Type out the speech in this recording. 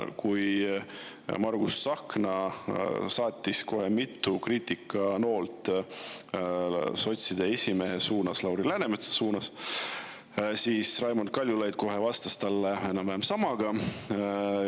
Kui Margus Tsahkna saatis kohe mitu kriitikanoolt sotside esimehe Lauri Läänemetsa suunas, siis Raimond Kaljulaid vastas talle kohe enam-vähem samaga.